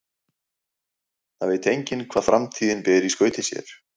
Það veit enginn hvað framtíðin ber í skauti sér.